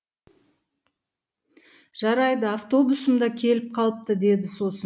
жарайды автобусым да келіп қалыпты деді сосын